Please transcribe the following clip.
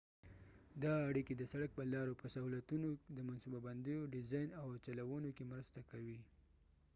دا اړیکي د سړک په لارو په سهولتونو د منصوبه بندیو ډیزاین او چلونو کې مرسته کوي